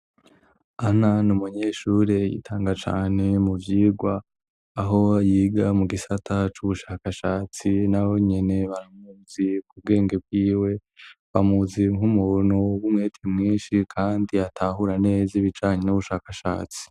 ana n umunyeshuri yitanga cane mu byigwa aho yiga mu gisata c'ubushakashatsi na bonene baramuzi ku bwenge bw'iwe bamuzi nk'umuntu w'umwete mwinshi kandi atahuraneza ibijanye n'ubushakashatsi